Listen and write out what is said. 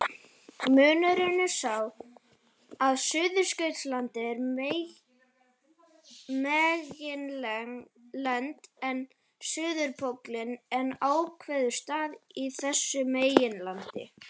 Munurinn er sá að Suðurskautslandið er meginland en suðurpóllinn einn ákveðinn staður á þessu meginlandi.